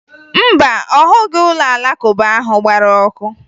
Mba, ọ hụghị ụlọ Alakụba ahụ gbara ọkụ